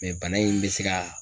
bana in bɛ se ka